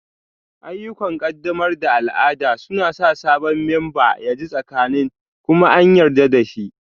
Ayyukan ƙaddamar da al'ada suna sa sabon memba ya ji tsakanin kuma an yarda da shi